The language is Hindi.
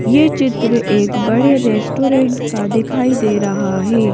ये चित्र एक बड़े रेस्टोरेंट का दिखाई दे रहा है।